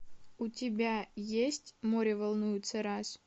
у тебя есть море волнуется раз